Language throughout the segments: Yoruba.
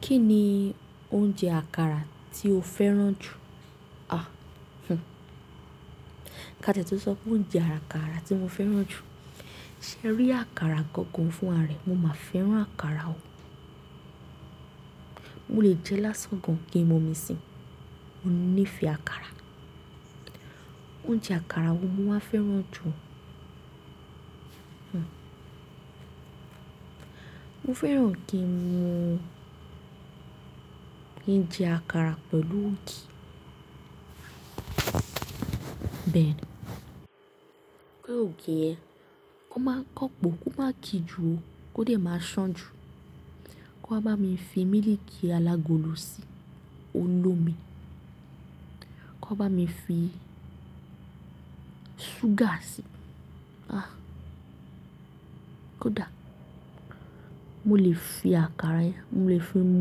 Kí ni oúnjẹ àkàrà tí o fẹ́ràn jù? À, hhn. Ka tètè sọ pé oúnjẹ àkàrà tí mo fẹ́ràn jù. Ṣe rí àkàrà gangan fún aré, mo máa fẹ́ràn àkàrà o. Mo lè jẹ lásán gan-an kí n mu omi síi. Mo nífẹ̀ẹ́ àkàrà. Oúnjẹ àkàrà wo mo máa fẹ́ràn jù? Hmm. Mo fẹ́ràn kí n jẹ àkàrà pẹ̀lú ògì. Bẹ́ẹ̀ ni. Pé ògì yẹn, kọ́n máa ń kàn pòó kó máa kí ju ó, kó dẹ̀ máa ṣàn jù. Kán wá bámi fi mílìkì alágolo síi, ó lómi. K'ọ́n bá mi fi ṣúgà síi. Àh. Kódà mo lè fi àkàrà yẹn, mo lè fi mú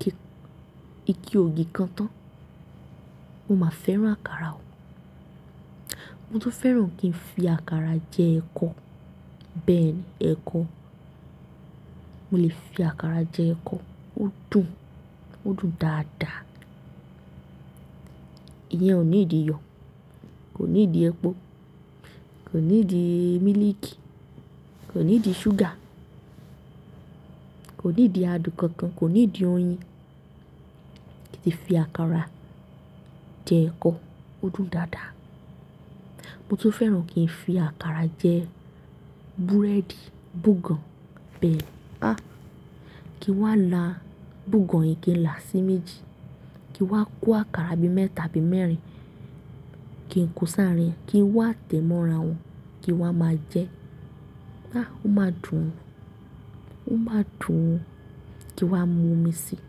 kí ike ògì kan tán. Mo máa fẹ́ràn àkàrà o. Mo tún fẹ́ràn kí n fi àkàrà jẹ ẹ̀kọ. Bẹ́ẹ̀ ni, ẹ̀kọ. Mo lè fi àkàrà jẹ ẹ̀kọ, ó dùn. Ó dùn dáadáa. Iyẹn ò nídi iyọ̀, kò nídi epo, kò nídi mílìkì, kò nídi ṣúgà, kò nídi adùn kankan, kò nídi oyin. Kí tí fi àkàrà jẹ ẹ̀kọ, ó dùn dáadáa. Mo tún fẹ́ràn kí n fi àkàrà jẹ búrẹ́dì, búgàn. Bẹ́ẹ̀ ni. Àh. Kí n wá la búgàn yìí kí n là sí méjì. Kí n wá kó àkàrà bí mẹ́ta bí mẹ́rin, kí n kó sáarín ẹ̀. Kí n wá tẹ́ mọ́ra wọn, kí n wá máa jẹ. Àh, ó máa dùn o. Ó máa dùn. Kí n wá mu omi síi,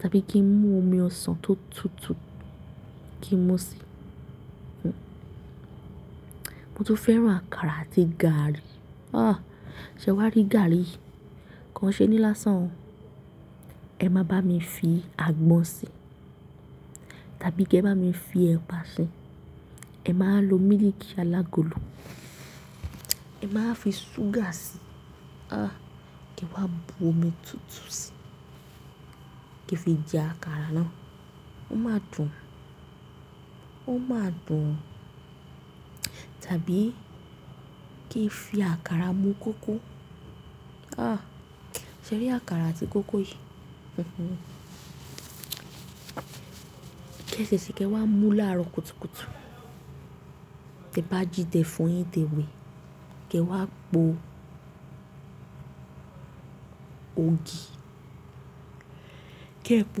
tàbí kí n mú omi ọsàn tó tutù kí n mú síi. Hmm. Mo tún fẹ́ràn àkàrà àti gàrí. Àh! Ṣé wá rí gàrí yì kò n ṣé ní lásán o? Ẹ má bá mi fi àgbọn síi, tàbí kí ẹ bá mi fi ẹ̀pà síi. Ẹ máa lo mílìkì alágolo. Ẹ máa fi ṣúgà síi. Àh, kí ẹ wá bu omi tutù síi, kí ẹ fi jẹ àkàrà náà. Ó máa dùn. Ó máa dùn. Tàbí kí ẹ fi àkàrà mu kókó. Àh! Ṣé ẹ rí àkàrà àti kókó yìí? Hmm hmm. Kí ẹ tẹ̀tẹ̀ sí i, kí ẹ wá mú láàárọ̀ kùtùkùtù. Tẹ bá jì tẹ́ fọyin tẹ wẹ̀. Kí ẹ wá po ògì. Kí ẹ̀ po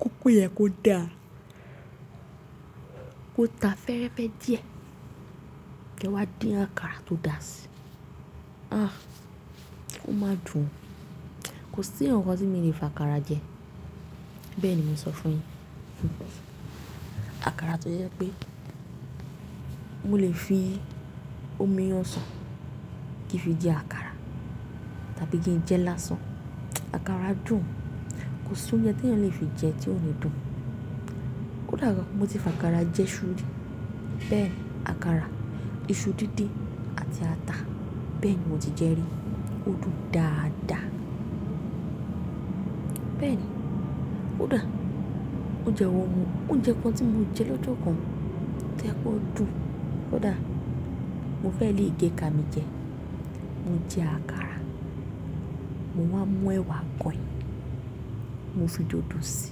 kókó yẹn kó dàa Kó ta fẹ́rẹ́fẹ́ díẹ̀. Kí ẹ wá dín àkàrà tó dà síi. Àh, ó máa dùn. Kò sí ǹkan kan tí mi ò lè fi àkàrà jẹ. Bẹ́ẹ̀ ni mo ń sọ fún yin. Hmm hmm. Àkàrà tó jẹ́ pé mo lè fi omi ọsàn kí fi jẹ àkàrà, tàbí kí n jẹ lásán. Àkàrà dùn. Kò sí oúnjẹ tí ènìyàn lè fi jẹ tí ò níí dùn. Kódà gan mo tí fi àkàrà jẹ iṣu rí. Bẹ́ẹ̀ ni, àkàrà, iṣu dídìń àti ata. Bẹ́ẹ̀ ni mo ti jẹ rí. Ó dùn dáadáa. Bẹ́ẹ̀ ni. Kódà ó jẹwò wọn, óuńjẹ ǹkan tí mo jẹ lọ́jọ́ kan. Ṣé ẹ kó dùn? Kódà mo fẹ́ lè gé ká mi jẹ. Mo jẹ àkàrà, mo wá mú ẹwà agọin. Mo fi dòdò si,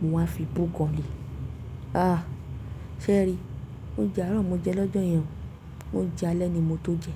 mo wá fi búgàn le. Àh! Ṣé ẹ rí? Oúnjẹ àárọ̀ mo jẹ lọ́jọ́ yẹn, oúnjẹ alẹ́ ni mo tó jẹ.